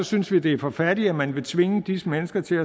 synes vi det er for fattigt at man vil tvinge disse mennesker til